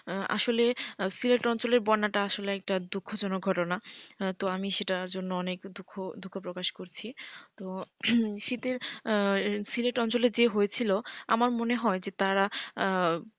আসলে সিলেট অঞ্চলের বন্যাটা আসলে একটা দুঃখজনক ঘটনা তো আমি সেটার জন্য অনেক দুঃখ দুঃখ প্রকাশ করছি তো শীতের সিলেট অঞ্চলের যে হয়েছিল আমার মনে হয় যে তারা,